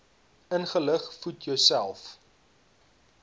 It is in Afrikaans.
ingelig voed jouself